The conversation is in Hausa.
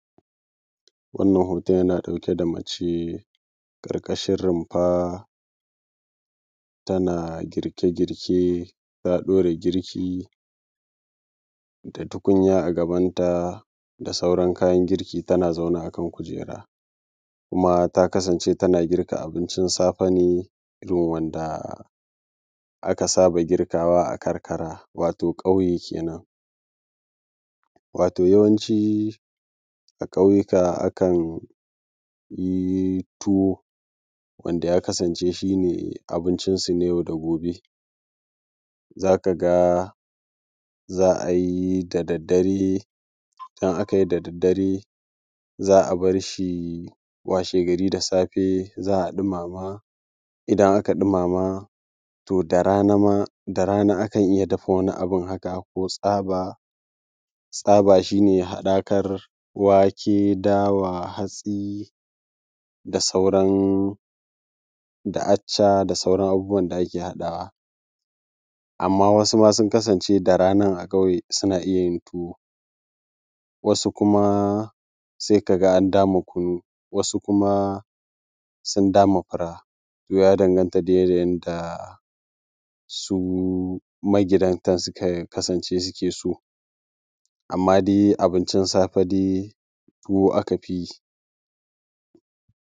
Wannan hoton yana ɗauke da mace ƙarƙashin rumfa tana girke girke. Ta ɗaura girki da tukuya a gabanta da sauran kayan girki tana zaune a kan kujera. Kuma ta kasance ta girka abincin safe ne irin wanda aka saba girkawa karkara wato ƙauye kenan. Wato yawanci a ƙauyuka akan yi tuwo wanda ya kasance shi ne abinci su ne na yau da gobe, za ka ga za a yi ta da daddare, in akayi ta daddare, za a bar shi washegari da safe za a ɗumama. In aka ɗumama, to da rana akan iya dafa wani abun haka ko tsaba. Tsaba shi ne haɗakar wake, dawa, hatsi, acca da sauran abubuwan da ake haɗawa. Amma wasu sun kasance da ranar a ƙauye suna iya yin tuwo, wasu kuma sai ka ga an dama kunu, wasu kuma sun dama fura. To ya danganta da yadda su magidantan suka kasance suke so. Amma dai abincin safe dai tuwo aka fi yi.